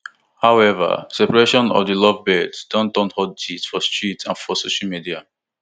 however separation of di lovebirds don turn hot gist for street and for social media